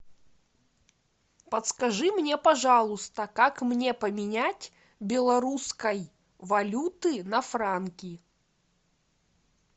подскажи мне пожалуйста как мне поменять белорусской валюты на франки